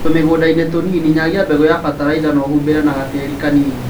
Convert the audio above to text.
Tũmĩgũndainĩ tũnini nyagia mbegũ na batalaitha na ũhumbĩre na gatĩri kanini